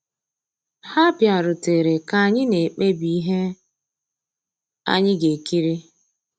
Há bìàrùtérè ká ànyị́ ná-èkpébí íhé ànyị́ gà-èkírí.